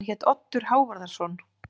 Hann hét Oddur Hávarðarson.